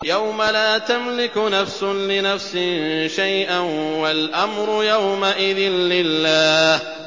يَوْمَ لَا تَمْلِكُ نَفْسٌ لِّنَفْسٍ شَيْئًا ۖ وَالْأَمْرُ يَوْمَئِذٍ لِّلَّهِ